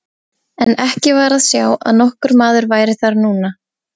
En ekki var að sjá að nokkur maður væri þar núna.